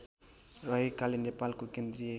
रहेकाले नेपालको केन्द्रीय